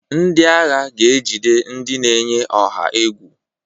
Ndị agha ga ejide ndị na-eyi ọha egwu.